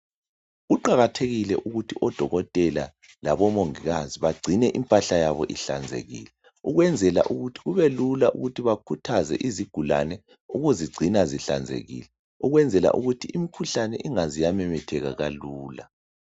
Kuqakathekile ukuthi odokotela labomongikazi bagcine impahla yabo ihlanzekile ukwenzela ukuthi kubelula ukuthi bakhuthaze izigulane ukuzigcina zihlanzekile ukwenzela ukuthi imikhuhlane ingaze yamemetheka kalula.